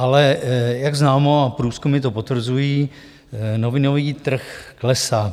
Ale jak známo, a průzkumy to potvrzují, novinový trh klesá.